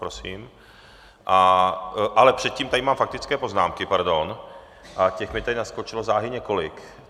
Prosím... ale předtím tady mám faktické poznámky, pardon, a těch mi tady naskočilo záhy několik.